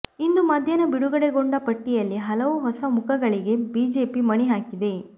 ಇಂದು ಮಧ್ಯಾಹ್ನ ಬಿಡುಗಡೆಗೊಂಡ ಪಟ್ಟಿಯಲ್ಲಿ ಹಲವು ಹೊಸ ಮುಖಗಳಿಗೆ ಬಿಜೆಪಿ ಮಣೆ ಹಾಕಿದೆ